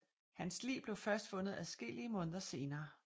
Hans lig blev først fundet adskillige måneder senere